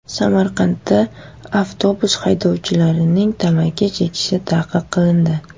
Samarqandda avtobus haydovchilarining tamaki chekishi tanqid qilindi.